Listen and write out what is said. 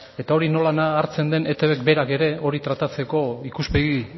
eta hori nola hartzen den eitbk berak ere hori tratatzeko ikuspegi